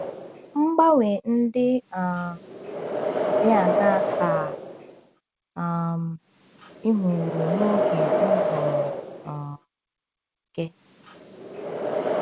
Mgbanwe ndị um dị aṅaa ka um ị hụworo n’oge ndụ um gị?